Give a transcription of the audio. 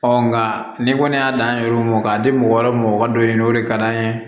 nka ni kɔni y'a dan an yɛrɛ mɔ k'a di mɔgɔ wɛrɛ ma o ka dɔ ɲini o de ka d'an ye